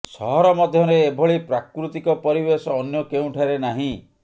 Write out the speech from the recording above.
ସହର ମଧ୍ୟରେ ଏଭଳି ପ୍ରାକୃତିକ ପରିବେଶ ଅନ୍ୟ କେଉଁଠାରେ ନାହିଁ